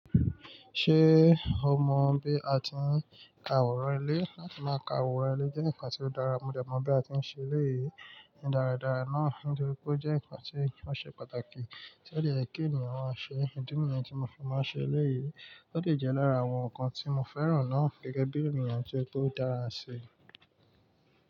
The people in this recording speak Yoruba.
Ṣé o mọ bí a ti ń ka òrò ilé? Láti máa ka òrò ilé jẹ́ ǹkan tí ó dára, mo dẹ̀ mọ̀ bí a ti ń ṣe eléyìí dáradára náà nítorí pé ó jẹ́ ǹkan tí wọ́n ṣe pàtàkì tí odẹ yẹ ki ènìyàn máa ṣe. Ìdí nìyẹn tí mo fi máa n ṣe eléyìí, ó le jẹ́ lára àwọn ǹkan tí mo fẹ́ràn náà gẹ́gẹ́ bí ènìyàn tí ó dára ṣe.